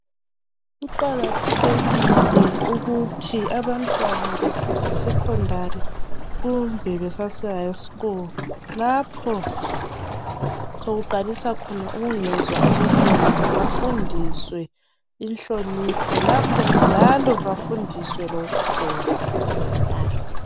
Kuqakathekile ukuthi abantwana beseseSekhondari kumbe besase "high school" lapho sokuqalisa khona ubungezwa obunengi bafundiswe inhlonipho lapho njalo bafundiswe lokugqoka kahle.